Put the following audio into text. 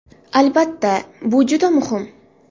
Albatta, bu juda muhim.